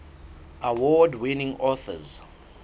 award winning authors